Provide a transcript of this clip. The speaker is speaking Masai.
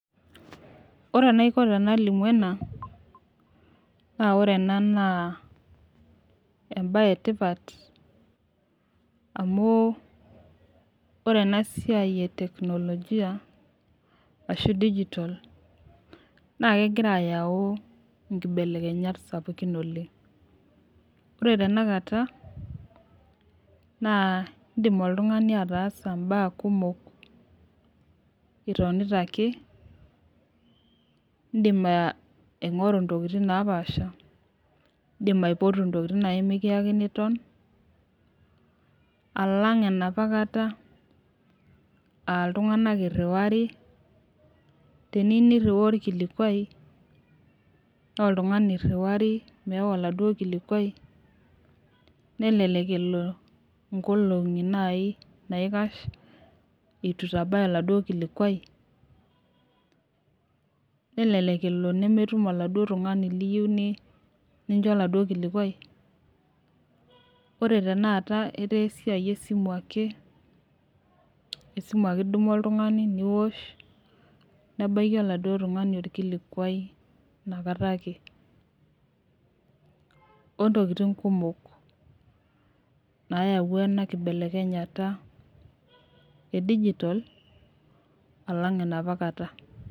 Ore enaiko tenalimu ena, naa ore ena naa embaye etipat, amu ore ena siai e teknolojia ashu e dijitol, naake egira ayau inkibelekenyat sapukin oleng'. Ore tena kata naa indim oltung'ani ataasa imbaa kumok itonita ake, indim aing'oru intokitin napaasha, indim aipotu intokitin nai nekiakini iton, alang' enoopa kata, aa iltung'anak eiruwari, teniyou niriwaya olkilikwai, naa oltung'ani eiriwari meewa oladuo kilikwai, nelelek elo inkolong'i naaji naikash, eitu eitabaya oladuo kilikwai, nelelek elo nemetum oladuo tung'ani liyou nincho oladuo kilikwai. Ore tenakata netaa esiai esimu ake, esimu ake idumu oltung'ani niosh, nebaiki oladuo tung'ani olkilikwai ina kata ake, o intokitin kumok naayauwa ena kibelekenyata e digitol alang' enoopa kata.